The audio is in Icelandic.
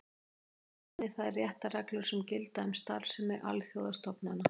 Einnig þær réttarreglur sem gilda um starfsemi alþjóðastofnana.